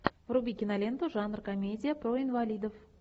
вруби киноленту жанр комедия про инвалидов